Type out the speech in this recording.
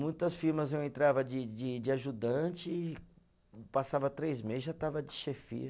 Muitas firmas eu entrava de de de ajudante, passava três meses, já estava de chefia.